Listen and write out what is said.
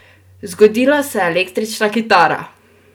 Zgodila se je električna kitara!